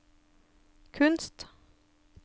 kunst